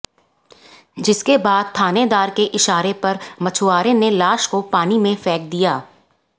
जिसके बाद थानेदार के इशारे पर मछुआरे ने लाश को पानी में फेंक दिया